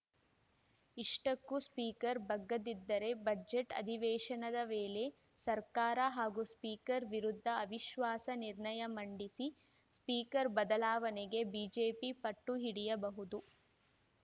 ಇಷ್ಟಕ್ಕೂ ಸ್ಪೀಕರ್‌ ಬಗ್ಗದಿದ್ದರೆ ಬಜೆಟ್‌ ಅಧಿವೇಶನದ ವೇಳೆ ಸರ್ಕಾರ ಹಾಗೂ ಸ್ಪೀಕರ್‌ ವಿರುದ್ಧ ಅವಿಶ್ವಾಸ ನಿರ್ಣಯ ಮಂಡಿಸಿ ಸ್ಪೀಕರ್‌ ಬದಲಾವಣೆಗೆ ಬಿಜೆಪಿ ಪಟ್ಟು ಹಿಡಿಯಬಹುದು